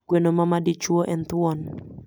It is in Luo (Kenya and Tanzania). Gweno ma madichuo en thuon.